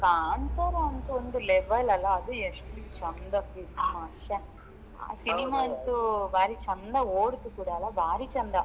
ಹಾ ಕಾಂತಾರ ಅಂತೂ ಒಂದು level ಅಲ್ಲಾ ಅದು ಎಷ್ಟು ಚಂದ film ಶ್ಯಾ ಆ cinema ಅಂತು ಬಾರಿ ಚೆಂದ ಓಡ್ತು ಕೂಡ ಅಲ್ಲಾ ಬಾರಿ ಚಂದ